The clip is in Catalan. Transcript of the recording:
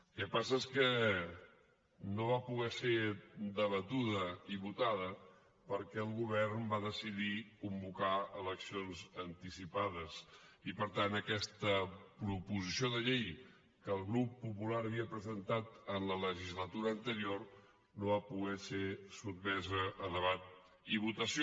el que passa és que no va poder ser debatuda i votada perquè el govern va decidir convocar eleccions anticipades i per tant aquesta proposició de llei que el grup popular havia presentat en la legislatura anterior no va poder ser sotmesa a debat i votació